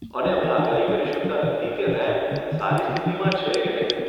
અને અમે આગાહી કરી શકતા નથી કે રેમ્પ સારી સ્થિતિમાં છે કે નહીં.